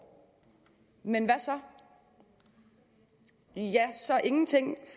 men hvad så ja så ingenting